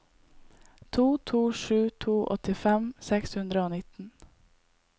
to to sju to åttifem seks hundre og nitten